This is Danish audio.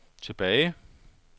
tilbage